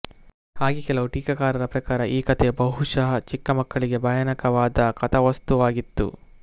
ಹಾಗೇ ಕೆಲವು ಟೀಕಾಕಾರರ ಪ್ರಕಾರ ಈ ಕಥೆಯು ಬಹುಶಃ ಚಿಕ್ಕ ಮಕ್ಕಳಿಗೆ ಭಯಾನಕವಾದ ಕಥಾವಸ್ತುವಾಗಿತ್ತು